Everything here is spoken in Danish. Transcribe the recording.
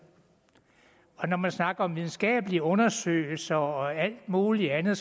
og når man snakker om videnskabelige undersøgelser og alt muligt andet